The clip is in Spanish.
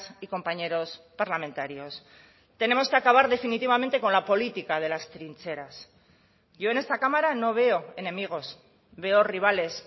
y compañeros parlamentarios tenemos que acabar definitivamente con la política de las trincheras yo en esta cámara no veo enemigos veo rivales